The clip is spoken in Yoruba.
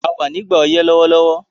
A wà nígbà ọyẹ́ lówólówó